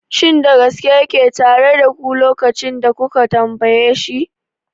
Shin da gaske yake tare da ku lokacin da kuka tambaye shi?